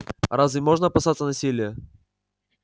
разве можно опасаться насилия